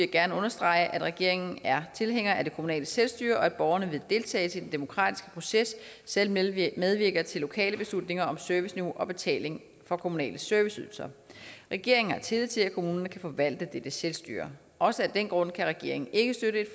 gerne understrege at regeringen er tilhænger af det kommunale selvstyre og at borgerne ved deltagelse i den demokratiske proces selv medvirker medvirker til lokale beslutninger om serviceniveau og betaling for kommunale serviceydelser regeringen har tillid til at kommunerne kan forvalte dette selvstyre og også af den grund kan regeringen ikke støtte et